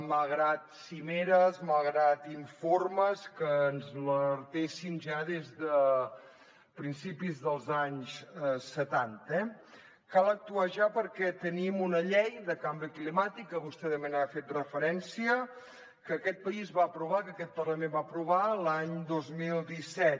malgrat cimeres malgrat informes que ens alertessin ja des de principis dels anys setanta eh cal actuar ja perquè tenim una llei de canvi climàtic que vostè també hi ha fet referència que aquest país va aprovar que aquest parlament va aprovar l’any dos mil disset